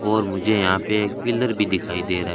और मुझे यहां पे एक पिलर भी दिखाई दे रहा है।